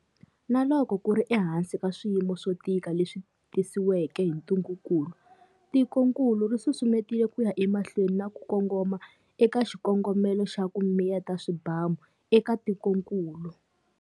Na loko ku ri ehansi ka swiyimo swo tika leswi tisiweke hi ntungukulu, tikokulu ri susumetile ku ya emahlweni na ku kongoma eka xikongomelo xa 'ku miyeta swibamu'eka tikokulu.